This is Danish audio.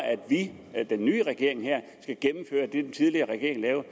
at vi den nye regering skal gennemføre det den tidligere regering